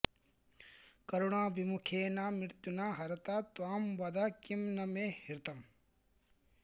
करुणाविमुखेन मृत्युना हरता त्वाम् वद किम् न मे हृतम्